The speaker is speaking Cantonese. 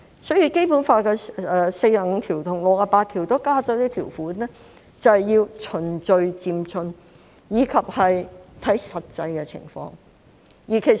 所以，《基本法》第四十五條和第六十八條都加入一些條款，就是要循序漸進，以及要看實際情況。